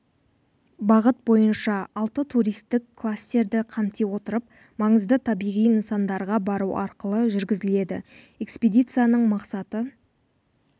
бағыт бойынша алты туристік кластерді қамти отырып маңызды табиғи нысандарға бару арқылы жүргізіледі экспедициясының мақсаты